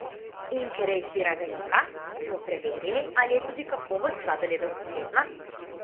In ker je izbira velika, smo preverili, ali je tudi kakovost sladoledov ustrezna?